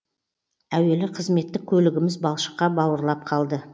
әуелі қызметтік көлігіміз балшыққа бауырлап қалды